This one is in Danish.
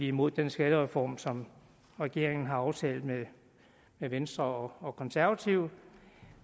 imod den skattereform som regeringen har aftalt med venstre og konservative